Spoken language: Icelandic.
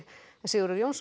Sigurður Jónsson